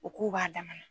O k'u b'a dama na